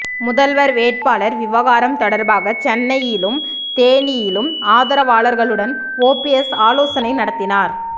முதல்வர் வேட்பாளர் விவகாரம் தொடர்பாக சென்னையிலும் தேனியிலும் ஆதரவாளர்களுடன் ஓபிஎஸ் ஆலோசனை நடத்தினார்